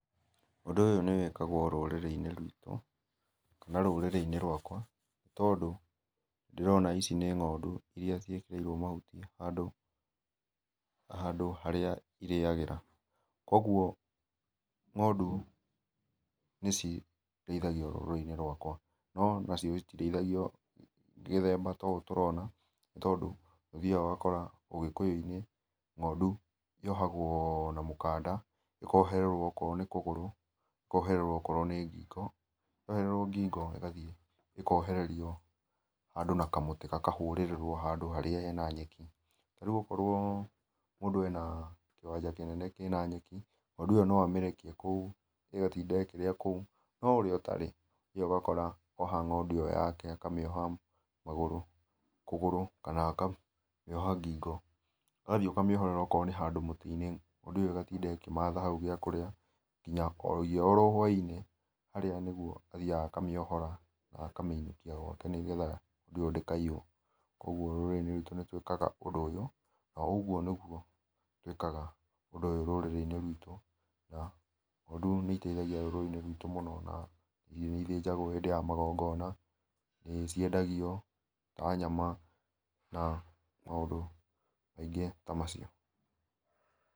Ũndũ ũyũ nĩwĩkagwo rũrĩri inĩ rwĩto kana rũrĩri inĩ rwakwa nĩ tondũ ndĩrona ici nĩ ngondũ iria ciĩkererwo mahũtĩ handũ harĩa irĩagĩra. Kwogwo ngondũ nĩciteithagĩa rũrĩri inĩ rwakwa no onacio citĩreĩthagĩo gĩthemba ta ũ tũrona tondũ nĩũthĩagĩa ũgakora ũgĩkũyũ inĩ ngondũ yohagwo na mũkanda ĩkohererewo okoro nĩ kũgũrũ, ĩkohererwo okoro nĩ ngĩgo yohererwo ngĩngo ĩkaohererĩo handũ na kamũtĩ gakahũrererwo handũ harĩa hena nyekĩ. Rĩũ okoro mũndũ ena kĩwanja kĩnene kĩna nyekĩ ngondũ ĩyo nũ amĩrekĩe koũ ĩgatĩnda ĩkĩrĩa koũ, no ũrĩa ũtarĩ nĩũkagora oha ngondũ ĩyo yake akamĩoha magũrũ kũgũrũ kana akamĩoha ngĩngo ũgathĩe ũkamĩoherera handũ mũti inĩ, ngondũ ĩyo ĩgatĩnda ĩkĩmatha haũ gĩa kũrĩa ngĩnyagĩa oro hwaĩ inĩ mũndũ harĩa nĩathĩaga akamĩohora, na akamĩinũkĩa gwake nĩ getha ngondũ ĩyo ndĩka iywo, kwogwo rũrĩ inĩ rwĩto nĩ tũĩkaga ũndũ ũyũ na ũgũo nĩgũo tũĩkaga ũndũ ũyũ rũrĩrĩ inĩ rwĩtũ, ta ngondũ nĩ ĩtethĩagĩa rũrĩrĩ ĩnĩ rwĩtũ na nĩ ithenjagwo hĩndĩ ya magongona na nĩciendagĩo ta nyama na maũndũ maĩngĩ ta macio.